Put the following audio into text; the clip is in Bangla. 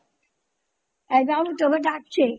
এই বাবু তোকে ডাকছে